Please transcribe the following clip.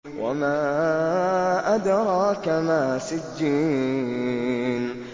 وَمَا أَدْرَاكَ مَا سِجِّينٌ